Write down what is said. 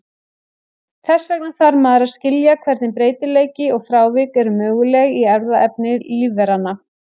Þess vegna þarf maður að skilja hvernig breytileiki og frávik eru möguleg í erfðaefni lífveranna.